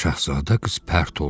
Şahzadə qız pərt oldu.